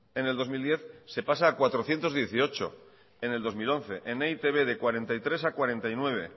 en el dos mil diez se pasa a cuatrocientos dieciocho en el dos mil once en etib de cuarenta y tres a cuarenta y nueve